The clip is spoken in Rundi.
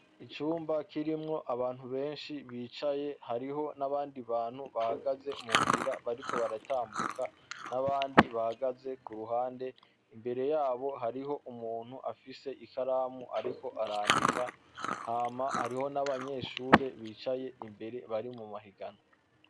Icumba kirimwo abantu beshi bicaye hariho n'abandi bantu bahagaze mu nzira bariko baratambuka n'abandi bahagaze ku ruhande imbere yabo hariho umuntu afise ikaramu ariko arandika hama hariho n'abanyeshuri bicaye imbere bari mu mahiganwa.